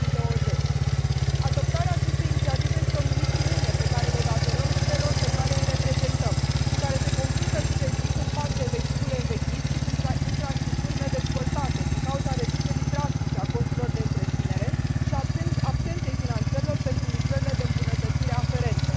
2020. Adoptarea acestei inițiative este o misiune pe care le o datorăm celor pe care îi reprezentăm și care se confruntă zi de zi cu un parc de vehicule învechit și cu infrastructuri nedezvoltate, din cauza reducerii drastice a costurilor de întreținere și a absenței finanțărilor pentru lucrările de îmbunătățire aferente.